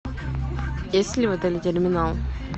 есть ли в отеле терминал